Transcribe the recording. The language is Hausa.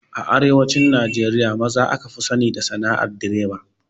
A arewacin Najeriya maza aka fi sani da sana'ar direba.